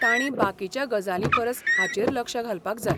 ताणीं बाकीच्या गजालींपरस हाचेर लक्ष घालपाक जाय.